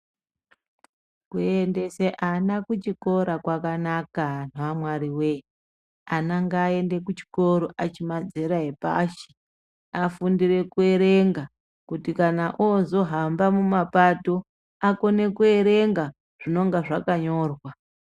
Kuendesa vana kuchikora kwakanaka Anhu amwari woye ana ngaende kuchikora achiri madzera epashi afundire kuerenga kuti kana ozohamba mumapato akone kuerenga zvinenge zvakanyorwa.